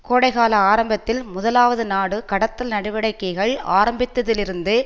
கோடைகால ஆரம்பத்தில் முதலாவது நாடு கடத்தல் நடவடிக்கைகள் ஆரம்பித்ததிலிருந்து